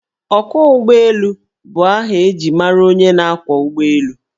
Ọkwọụgbọelu bụ aha eji mara onye na-ákwọ̀ ụgbọelu